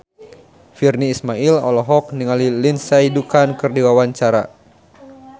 Virnie Ismail olohok ningali Lindsay Ducan keur diwawancara